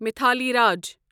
Mithali Raj